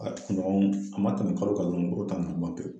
A kunɲɔgɔn a ma tɛmɛ kalo kan dɔrɔn, woro ta ninnu ban pewu